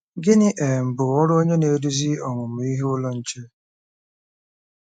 Gịnị um bụ ọrụ onye na-eduzi Ọmụmụ Ihe Ụlọ Nche?